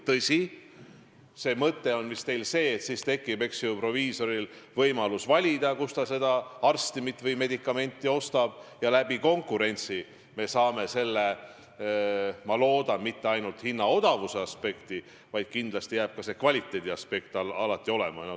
Tõsi, mõte on teil vist see, et siis tekib proviisoril võimalus valida, kust ta seda arstimit või medikamenti ostab, ja konkurentsi abil me saavutame siis, ma loodan, mitte ainult odavuse aspekti, vaid kindlasti jääb ka kvaliteediaspekt alati alles.